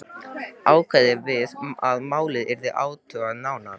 Ákveðið var að málið yrði athugað nánar.